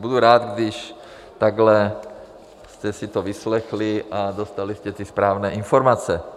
Budu rád, když takhle jste si to vyslechli a dostali jste ty správné informace.